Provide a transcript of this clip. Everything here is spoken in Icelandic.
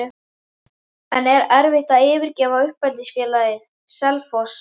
En er erfitt að yfirgefa uppeldisfélagið, Selfoss?